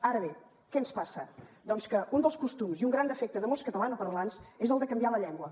ara bé què ens passa doncs que un dels costums i un gran defecte de molts catalanoparlants és el de canviar la llengua